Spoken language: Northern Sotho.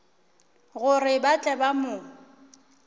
gore ba tle ba mo